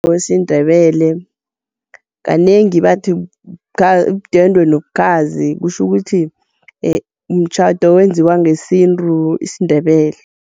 wesiNdebele, kanengi bathi yidwendwe nobukhazi kutjho ukuthi, mtjhado owenziwa ngesintu isiNdebele.